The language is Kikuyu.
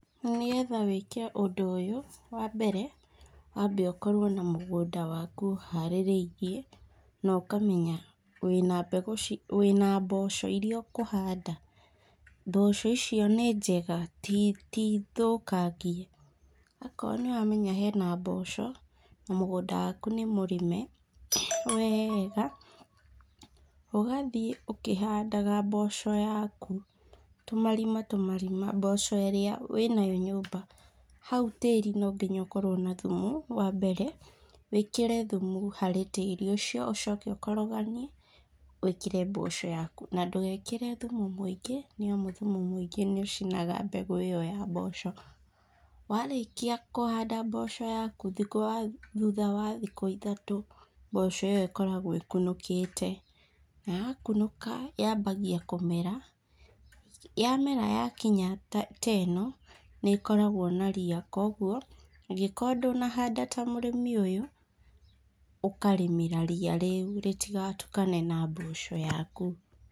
Nĩgetha wĩke ũndũ ũyũ , wa mbere, wambe ũkorwo na mũgũnda waku ũharĩrĩirie, na ũkamenya wĩna mbegũ ci, wĩna mboco iria ũkũhanda? mboco icio nĩ njega tithũkangie? , okorwo nĩ ũramenya hena mboco, na mũgũnda waku nĩ mũrĩme wega, ũgathiĩ ũkĩhandaga mboco yaku, tũmarima, tũmarima mboco iria wĩnayo nyumba, hau tĩri no nginya ũkorwo na thumu, wa mbere, wĩkĩre thumu harĩ tĩri ũcio, ũcoke ũkoroganie wĩkĩre mboco yaku, na ndũgekĩre thumu mũingĩ nĩ amu thumu mũingĩ nĩ ũcinaga mbegũ ĩyo ya mboco, warĩkia kũhanda mboco yaku, thutha wa thikũ ithatũ ,mboco ĩyo ĩkoragwo ĩkunokĩte, na ya kunũka yambagia kũmera , yamera yakinya ta ĩno, nĩ ĩkoragwo na ria kugwo, ũngĩkorwo ndũnahanda ta mũrĩmi ũyũ, ũkarĩmĩra ria rĩu ritika tukane na mboco yaku.